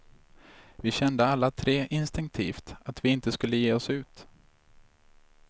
Vi kände alla tre instinktivt att vi inte skulle ge oss ut.